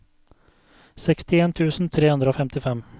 sekstien tusen tre hundre og femtifem